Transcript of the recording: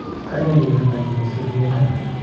keyeey kegerta giy kosir kenyaai